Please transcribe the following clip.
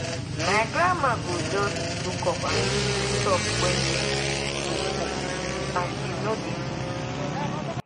my grandma go just look up and she go talk when rain go go fall and she no dey miss the right time